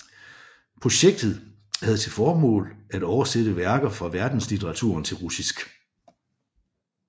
Projektet havde til formål at oversætte værker fra verdenslitteraturen til russisk